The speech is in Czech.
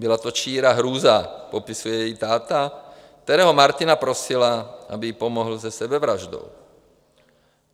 Byla to čirá hrůza, popisuje její táta, kterého Martina prosila, aby jí pomohl se sebevraždou.